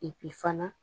fana